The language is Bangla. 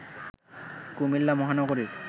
কুমিল্লা মহানগরীর